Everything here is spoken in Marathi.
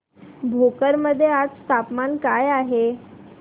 भोकर मध्ये आज तापमान काय आहे